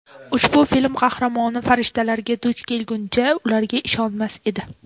Ushbu film qahramoni farishtalarga duch kelmaguncha ularga ishonmas edi.